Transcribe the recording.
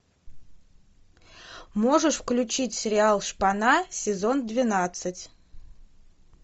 можешь включить сериал шпана сезон двенадцать